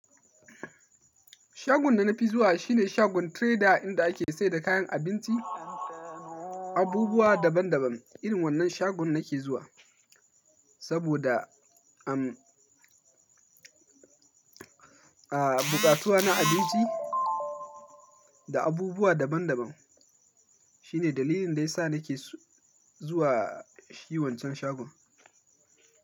Shagon da na fi zuwa shi ne shagon trader inda ake sayar da kayan abinci, abubuwa daban daban. Irin wannan shagon nake zuwa saboda, am, a, buƙatuwa na abinci da abubuwa daban daban. Shi ne dalilin da ya sa nake zuwa shi wancan shagon.